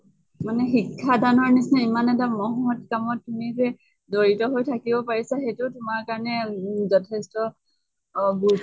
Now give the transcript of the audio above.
মানে শিক্ষা দানৰ নিছিনা ইমান এটা মহৎ কামত তুমি যে জড়িত হৈ থাকিব পাৰিছা সেইটো তোমাৰ কাৰণে উম যথেষ্ট